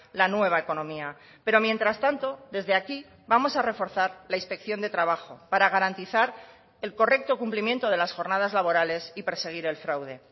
la nueva economía pero mientras tanto desde aquí vamos a reforzar la inspección de trabajo para garantizar el correcto cumplimiento de las jornadas laborales y perseguir el fraude